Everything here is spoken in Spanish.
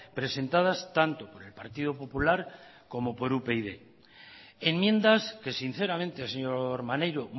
presentadas tanto por el partido popular como por upyd enmiendas que sinceramente señor maneiro